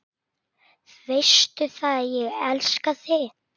Veistu það, ég elska þig.